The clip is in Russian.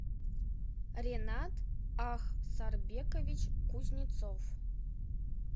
ренат ахсарбекович кузнецов